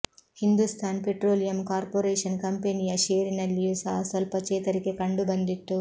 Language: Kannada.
ಹಿಂದೂಸ್ಥಾನ್ ಪೆಟ್ರೋಲಿಯಂ ಕಾರ್ಪೊರೇಷನ್ ಕಂಪೆನಿಯ ಷೇರಿನಲ್ಲಿಯೂ ಸಹ ಸ್ವಲ್ಪ ಚೇತರಿಕೆ ಕಂಡು ಬಂದಿತು